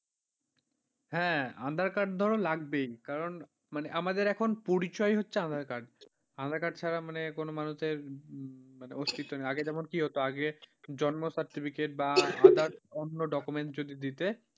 হ্যাঁ aadhaar card ধরো লাগবেই, কারণ মানে আমাদের এখন পরিচয় হচ্ছে aadhaar card aadhaar card ছাড়া মানে কোন মানুষের অস্তিত্বহীন আগে যেমন কি হতো মানে আগে জন্ম certificate বা others অন্য document যদি দিতে,